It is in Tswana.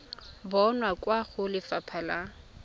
bonwa kwa go lefapha la